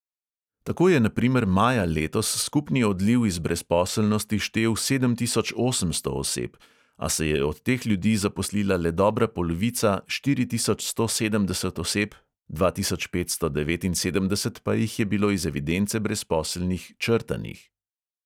Tako je na primer maja letos skupni odliv iz brezposelnosti štel sedem tisoč osemsto oseb, a se je od teh ljudi zaposlila le dobra polovica štiri tisoč sto sedemdeset oseb, dva tisoč petsto devetinsedemdeset pa jih je bilo iz evidence brezposelnih črtanih.